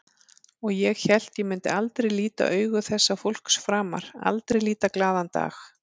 Og ég hélt ég myndi aldrei líta augu þessa fólks framar, aldrei líta glaðan dag.